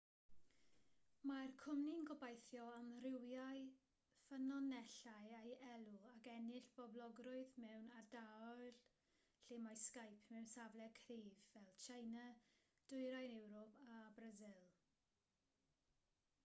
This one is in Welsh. mae'r cwmni'n gobeithio amrywio ffynonellau ei elw ac ennill poblogrwydd mewn ardaloedd lle mae skype mewn safle cryf fel tsieina dwyrain ewrop a brasil